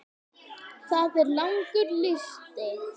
Það er langur listi.